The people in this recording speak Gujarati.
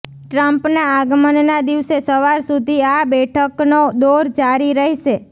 ટ્રમ્પના આગમનના દિવસે સવાર સુધી આ બેઠકનો દોર જારી રહેશે